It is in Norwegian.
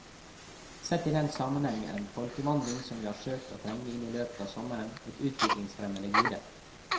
Sett i den sammenheng er den folkevandring som vi har søkt å trenge inn i i løpet av sommeren, et utviklingsfremmende gode.